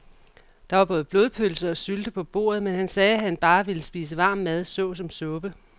Der var både blodpølse og sylte på bordet, men han sagde, at han bare ville spise varm mad såsom suppe.